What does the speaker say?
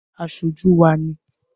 Aṣojú wá ni